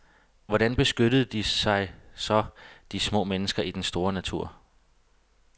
Hvordan beskyttede de sig så, de små mennesker i den store natur?